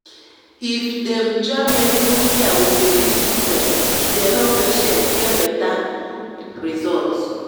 if dem join medical care with belief system e dey help patients get better result.